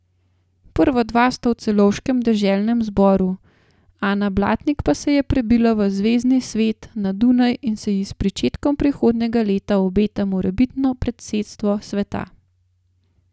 Prva dva sta v celovškem deželnem zboru, Ana Blatnik pa se je prebila v zvezni svet na Dunaj in se ji s pričetkom prihodnjega leta obeta morebitno predsedstvo sveta.